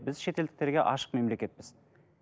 біз шетелдіктерге ашық мемлекетпіз